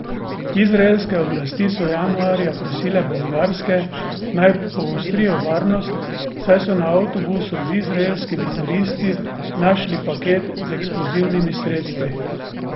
Izraelske oblasti so januarja prosile bolgarske naj poostrijo varnost, saj so na avtobusu z izraelskimi turisti našli paket z eksplozivnimi sredstvi.